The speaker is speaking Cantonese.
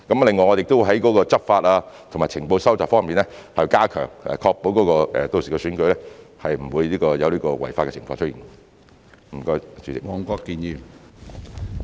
另外，我們亦會加強執法及情報收集方面的工作，確保屆時的選舉不會有違法的情況出現。